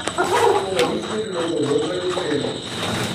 Toda nič ni bilo dovolj dragoceno.